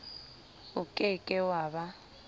o ke ke wa ba